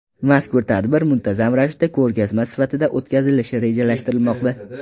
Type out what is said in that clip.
Mazkur tadbir muntazam ravishda ko‘rgazma sifatida o‘tkazilishi rejalashtirilmoqda.